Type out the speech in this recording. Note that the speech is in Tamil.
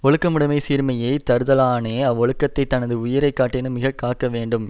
ஒழுக்கமுடைமை சீர்மையைத் தருதலானே அவ்வொழுக்கத்தைத் தனது உயிரை காட்டினும் மிக காக்க வேண்டும்